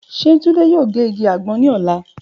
Ṣe Tunde yoo ge igi agbon ni ọla?